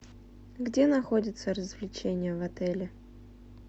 где находятся развлечения в отеле